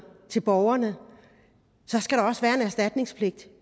til borgerne skal der også være en erstatningspligt